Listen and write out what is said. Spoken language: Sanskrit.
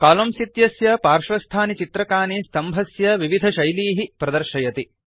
कोलम्न इत्यस्य पार्श्वस्थानि चित्रकानि स्तम्भस्य विविधशैलीः प्रदर्शयति